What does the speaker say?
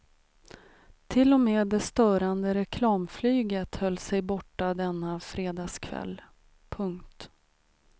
Till och med det störande reklamflyget höll sig borta denna fredagskväll. punkt